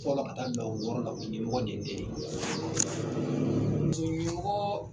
ka ta fɔlɔ la ka taa bila wɔɔrɔ la o ɲɛmɔgɔ de ye ne ye.